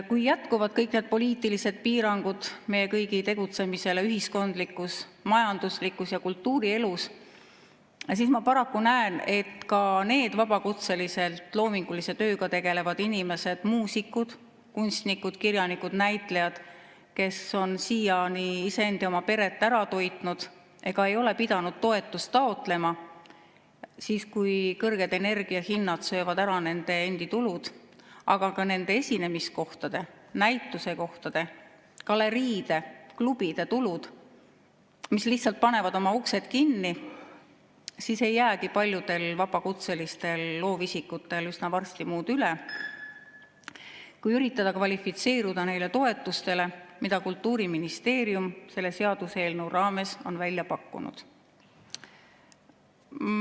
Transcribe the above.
Kui jätkuvad kõik need poliitilised piirangud meie kõigi tegutsemisele ühiskondlikus, majanduslikus ja kultuurielus, siis ma paraku näen, et ka nendel paljudel vabakutselisena loomingulise tööga tegelevatel inimestel, muusikutel, kunstnikel, kirjanikel ja näitlejatel, kes on siiani iseend ja oma peret ära toitnud ega ole pidanud toetust taotlema, ei jää siis, kui kõrged energiahinnad söövad ära nende endi tulud, aga ka nende esinemiskohtade, näitusekohtade, galeriide ja klubide tulud ja need lihtsalt panevad oma uksed kinni, üsna varsti üle muud kui üritada kvalifitseeruda neile toetustele, mida Kultuuriministeerium selle seaduseelnõu raames on välja pakkunud.